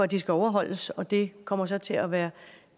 de skal overholdes og det kommer der så til at være